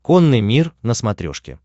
конный мир на смотрешке